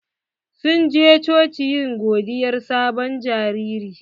Sun je coci yin godiyar sabon jariri.